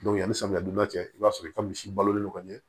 yanni samiyan cɛ i b'a sɔrɔ i ka misi balolen don ka ɲɛ